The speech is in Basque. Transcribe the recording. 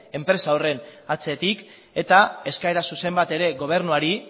enpresa horren atzetik eta eskaera zuzen bat ere gobernuari